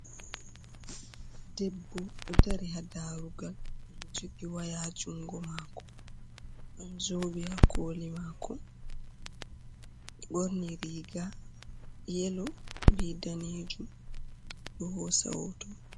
Debbo ɗo dari ha darugal, jogi waya ha jungo mako, ɗon zobe ha koli mako, ɓorni riga yelo be daneejum, o ɗo hosa hoto.